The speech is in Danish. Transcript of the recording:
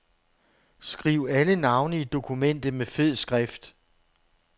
Skriv alle navne i dokumentet med fed skrift.